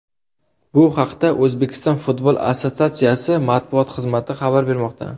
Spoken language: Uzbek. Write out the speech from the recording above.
Bu haqda O‘zbekiston futbol assotsiatsiyasi matbuot xizmati xabar bermoqda .